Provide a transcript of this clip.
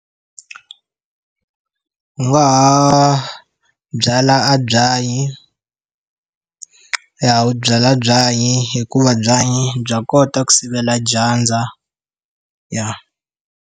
U nga ha byala a byanyi, ya u byala byanyi hikuva byanyi bya kota ku sivela dyandza, ya.